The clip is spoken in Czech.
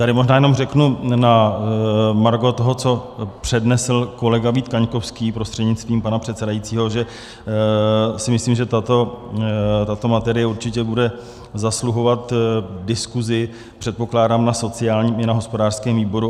Tady možná jenom řeknu na margo toho, co přednesl kolega Vít Kaňkovský prostřednictvím pana předsedajícího, že si myslím, že tato materie určitě bude zasluhovat diskuzi, předpokládám, na sociálním i na hospodářském výboru.